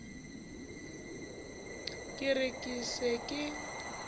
ke re ke se ke